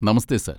നമസ്തെ sir!